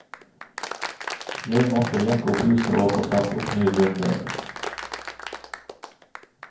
Jeg måtte jekke opp huset og få satt opp ny grunnmur.